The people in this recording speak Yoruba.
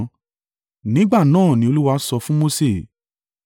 Nígbà náà ni Olúwa sọ fún Mose.